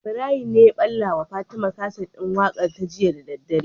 Ibrahim ne ta balla wa fatima kaset din waƙar ta jiya da daddare